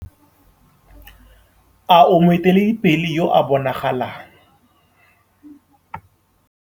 A o moeteledipele yo a bonagalang?